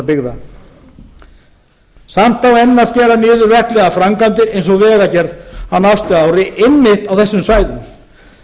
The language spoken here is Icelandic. byggða samt á enn að skera niður verklegar framkvæmdir eins og vegagerð á næsta ári einmitt á þessum svæðum